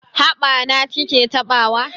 Haɓa ta ki ke taɓawa?